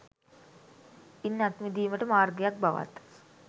ඉන් අත් මිඳීමට මාර්ගයක් බවත්